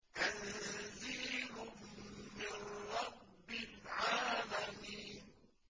تَنزِيلٌ مِّن رَّبِّ الْعَالَمِينَ